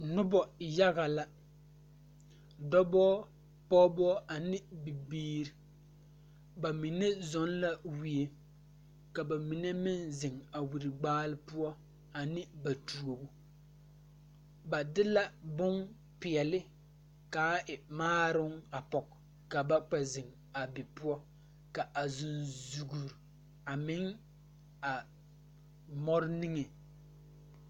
Nobɔ yaga la dɔbɔ pɔɔbɔ ane bibiire ba mine zɔŋ la wie ka ba mine meŋ zeŋ a wiri gbaale poɔ ane ba tuobo ba de la bonpeɛle kaa w maaroŋ a pɔge ka ba kpɛ zeŋ a be poɔ ka a zuŋzugre a meŋ a mɔre niŋe.